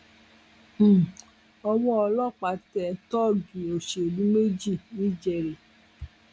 um owó ọlọpàá tẹ tóógì òṣèlú méjì ńìjẹrẹ